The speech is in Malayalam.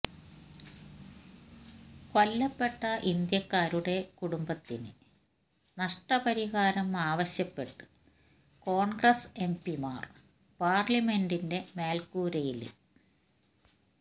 കൊല്ലപ്പെട്ട ഇന്ത്യക്കാരുടെ കുടുംബത്തിന് നഷ്ടപരിഹാരം ആവശ്യപ്പെട്ട് കോണ്ഗ്രസ് എംപിമാര് പാര്ലമെന്റിന്റെ മേല്ക്കൂരയില്